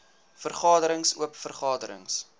vergaderings oop vergaderings